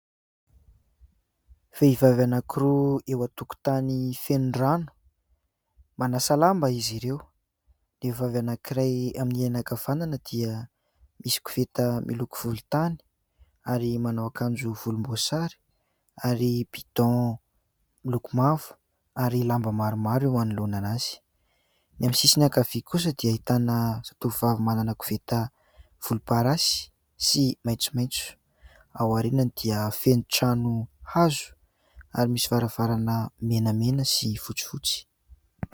Vehivavy anankiroa eo an-tokontany feno rano. Manasa lamba izy ireo. Ny vehivavy anankiray amin'ny ankavanana dia misy koveta miloko volontany ary manao akanjo volomboasary ary "bidon" miloko mavo ary lamba maromaro eo anoloanan'azy. Ny amin'ny sisiny ankavia kosa dia ahitana zatovovavy manana koveta volomparasy sy maitsomaitso. Ao aorianany dia feno trano hazo ary misy varavarana menamena sy fotsifotsy.